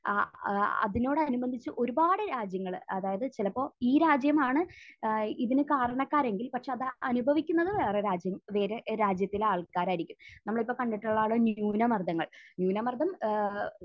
അഹ് അഹ് അതിനോടനുബന്ധിച്ച് ഒരുപാട് രാജ്യങ്ങൾ അതായത് ചിലപ്പോൾ ഈ രാജ്യമാണ് ഏഹ് ഇതിന് കാരണക്കാരെങ്കിൽ പക്ഷെ അത് അനുഭവിക്കുന്നത് വേറെ രാജ്യം വേറെ രാജ്യത്തിലെ ആൾക്കാരായിരിക്കും. നമ്മൾ ഇപ്പോൾ കണ്ടിട്ടുള്ളതാണ് ന്യൂനമർദ്ദങ്ങൾ. ന്യൂനമർദം ഏഹ്